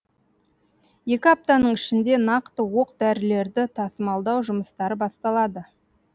екі аптаның ішінде нақты оқ дәрілерді тасымалдау жұмыстары басталады